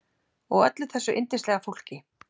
Og öllu þessu yndislega fólki.